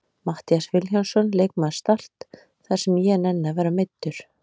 Matthías Vilhjálmsson, leikmaður Start: Það sem ég nenni að vera meiddur!